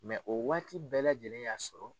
o waati bɛɛ lajɛlen y'a sɔrɔ.